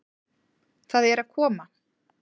Það er að koma!